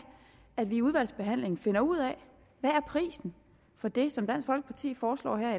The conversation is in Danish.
at vi i udvalgsbehandlingen finder ud af hvad prisen for det som dansk folkeparti foreslår her